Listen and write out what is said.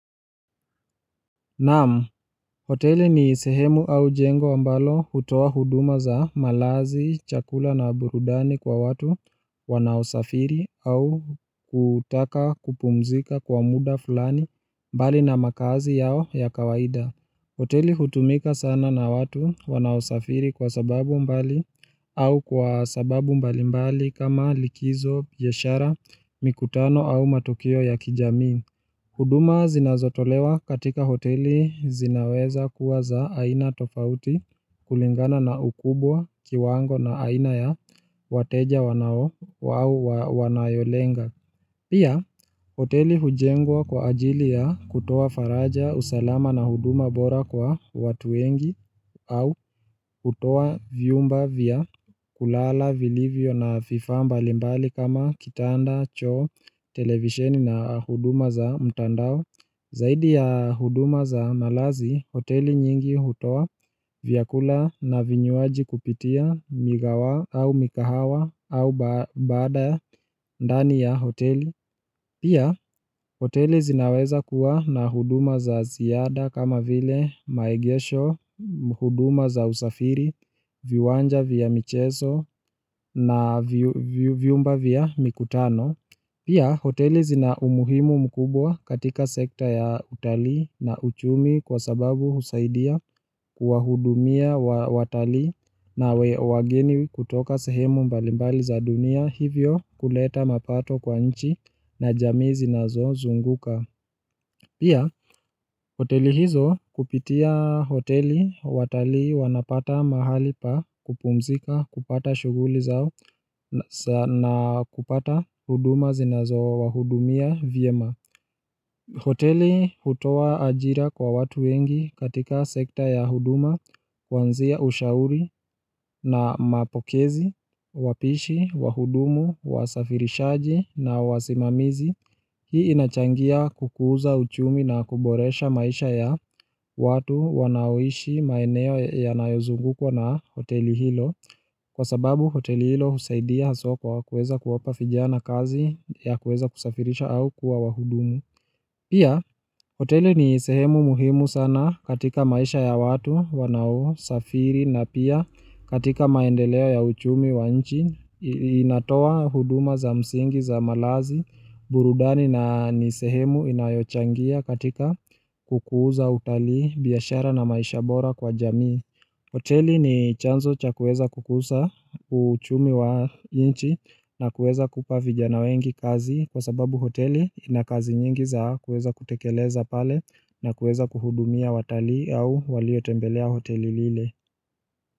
Naam, hoteli ni sehemu au jengo ambalo hutoa huduma za malazi, chakula na burudani kwa watu wanaosafiri au kutaka kupumzika kwa muda fulani mbali na makazi yao ya kawaida. Hoteli hutumika sana na watu wanaosafiri kwa sababu mbali au kwa sababu mbali mbali kama likizo, biashara, mikutano au matukio ya kijamii. Huduma zinazotolewa katika hoteli zinaweza kuwa za aina tofauti kulingana na ukubwa kiwango na aina ya wateja wanao au wanayolenga. Pia, hoteli hujengwa kwa ajili ya kutoa faraja usalama na huduma bora kwa watu wengi au kutoa vyumba vya kulala, vilivyo na vifaa mbalimbali kama kitanda, choo, televisheni na huduma za mtandao. Zaidi ya huduma za malazi, hoteli nyingi hutoa vyakula na vinywaji kupitia migawa au mikahawa au baada ndani ya hoteli. Pia, hoteli zinaweza kuwa na huduma za ziada kama vile maegesho, huduma za usafiri, viwanja vya michezo na vyumba vya mikutano. Pia, hoteli zina umuhimu mkubwa katika sekta ya utalii na uchumi kwa sababu husaidia kuwahudumia watalii na wageni kutoka sehemu mbalimbali za dunia hivyo kuleta mapato kwa nchi na jamii zinazozunguka. Pia, hoteli hizo kupitia hoteli watalii wanapata mahali pa kupumzika kupata shughuli zao na kupata huduma zinazowahudumia vyema. Hoteli hutoa ajira kwa watu wengi katika sekta ya huduma, kwanzia ushauri na mapokezi, wapishi, wahudumu, wasafirishaji na wasimamizi. Hii inachangia kukuza uchumi na kuboresha maisha ya watu wanaoishi maeneo yanayozungukwa na hoteli hilo. Kwa sababu hoteli hilo husaidia soko kwa kuweza kuwapa vijana kazi ya kuweza kusafirisha au kuwa wahudumu. Pia, hoteli ni sehemu muhimu sana katika maisha ya watu wanaosafiri na pia katika maendeleo ya uchumi wa nchi, inatoa huduma za msingi za malazi, burudani na ni sehemu inayochangia katika kukuza utalii, biashara na maisha bora kwa jamii. Hoteli ni chanzo cha kuweza kukuza uchumi wa nchi na kuweza kupa vijana wengi kazi kwa sababu hoteli ina kazi nyingi za kuweza kutekeleza pale na kuweza kuhudumia watalii au waliotembelea hoteli lile.